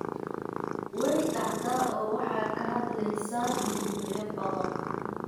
way caddahay oo waxay ka hadlaysaa mawduucyo badan